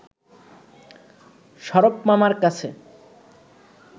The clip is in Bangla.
শরাফ মামার কাছে